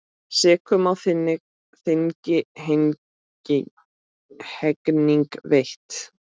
Sekum á þingi hegning veitt.